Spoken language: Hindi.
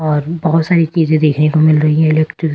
और बहुत सारी चीजें देखने को मिल रही है एलेक्ट्रिक -----